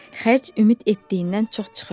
Xərc ümid etdiyindən çox çıxırdı.